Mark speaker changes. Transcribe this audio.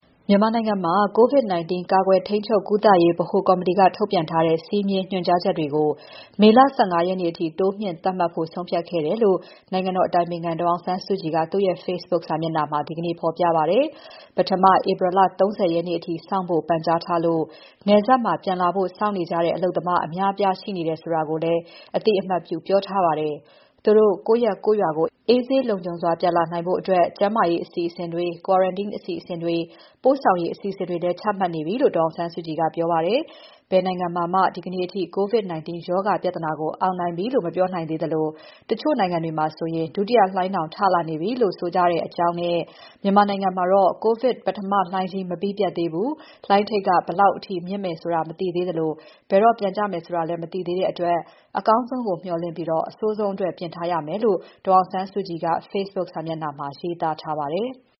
Speaker 1: မြန်မာနိုင်ငံမှာ COVID-19 ကာကွယ်ထိန်းချုပ်ကုသရေးဗဟို ကော်မတီက ထုတ်ပြန်ထားတဲ့ စည်းမျဉ်း၊ ညွှန်ကြားချက်တွေကို မေလ ၁၅ ရက်နေ့ အထိ တိုးမြှင့် သတ်မှတ်ဖို့ဆုံးဖြတ်ခဲ့တယ်လို့ နိုင်ငံတော်အတိုင်ပင်ခံ ဒေါ်အောင်ဆန်းစုကြည်က သူ့ရဲ့ Fcebook စာမျက်နှာမှာ ဒီကနေ့ ဖော်ပြပါတယ်။ ပထမ ဧပြီ ၃၀ ရက်နေ့ထိ စောင့်ဖို့ ပန်ကြားထားလို့ နယ်စပ်မှာ ပြန်လာဖို့ စောင့်နေကြတဲ့ အလုပ်သမား အများအပြားရှိနေတယ်ဆိုတာကိုလည်း အသိအမှတ်ပြုပြောထားပါတယ်။ သူတို့ ကိုယ့်ရပ်၊ ကိုယ့်ရွာကို အေးဆေး လုံခြုံစွာပြန်နိုင်ဖို့ ကျန်းမာရေးအစီအစဉ်တွေ၊ quarantine အစီအစဉ်တွေ၊ ပို့ဆောင်ရေး အစီအစဉ်တွေလည်း ချမှတ်နေပါပြီလို့ ဒေါ်အောင်ဆန်းစုကြည်က ပြောပါတယ်။ ဘယ်နိုင်ငံမှာမှ ဒီနေ့အထိ COVID-19 ရောဂါ ပြဿနာကို အောင်နိုင်ပြီလို့ မပြောနိုင်သေးသလို တချို့နိုင်ငံတွေမှာဆို ဒုတိယလှိုင်းတောင် ထလာနေပြီလို့ ဆိုနေကြတဲ့အကြောင်းနဲ့ မြန်မာနိုင်ငံမှာ COVID ပထမလှိုင်းကြီး မပြီးပြတ်သေးဘူး။ လှိုင်းထိပ်က ဘယ်လောက်ထိ မြင့်နိုင်မယ်ဆိုတာ မသိနိုင်သေးသလို၊ ဘယ်တော့ ပြန်ကျမယ်ဆိုတာလည်း မသိနိုင်သေးတဲ့အတွက် အကောင်းဆုံးကို မျှော်လင့်ပြီး အဆိုးဆုံးအတွက် ပြင်ထားရမယ်လို့ ဒေါ်အောင်ဆန်းစုကြည်က Facebook စာမျက်နှာမှာ ရေးသားထားပါတယ်။